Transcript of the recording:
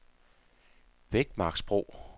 Bækmarksbro